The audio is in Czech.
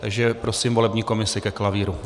Takže prosím volební komisi ke klavíru.